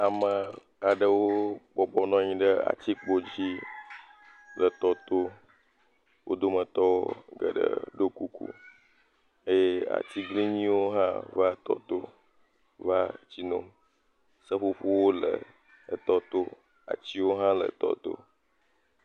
Ae aɖewo bɔbɔnɔ anyi ɖe atikpo dzi le tɔ to, wo dometɔ geɖee ɖo kuku eye atiglinyiwo hã va tɔto va tsi nom seƒoƒowo le tɔto atiwo hã le tɔ to.